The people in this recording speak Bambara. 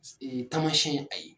Ti ee tamasiɲɛn